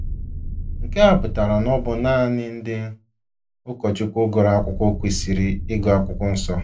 Nke a pụtara na ọ bụ naanị ndị ụkọchukwu gụrụ akwụkwọ kwesịrị ịgụ Akwụkwọ Nsọ.